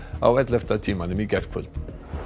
á ellefta tímanum í gærkvöld